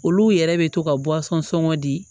Olu yɛrɛ bɛ to ka sɔngɔ di